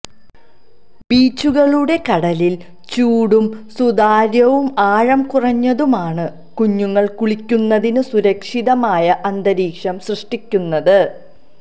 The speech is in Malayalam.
ബീച്ചുകളുടെ കടലിൽ ചൂടും സുതാര്യവും ആഴം കുറഞ്ഞതുമാണ് കുഞ്ഞുങ്ങൾ കുളിക്കുന്നതിന് സുരക്ഷിതമായ അന്തരീക്ഷം സൃഷ്ടിക്കുന്നത്